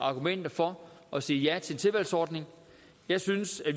argumenter for at sige ja til en tilvalgsordning jeg synes